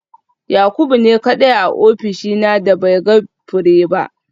Yakubu ne kadai a ofishina da bai ga fure ba